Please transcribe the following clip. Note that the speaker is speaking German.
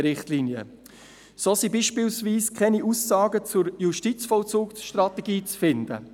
So sind beispielsweise keine Aussagen zur Justizvollzugsstrategie zu finden.